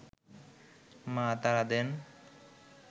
মা তাড়া দেন